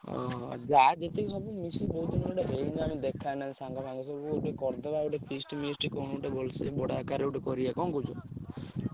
ଅହ! ଯାହା ଯେତିକି ହବ ମିଶି ବହୁତ୍ ଦିନରୁ ଗୋଟେ ହେଇନି ଆମେ ଦେଖା ନାହିଁ ସାଙ୍ଗ ଫାଙ୍ଗ ସବୁ କରିଦବା ଗୋଟେ feast ମିଷ୍ଟ କଣ ଗୋଟେ ଭଲସେ ବଡ ଆକାରରେ ଗୋଟେ କରିଆ କଣ କହୁଛ?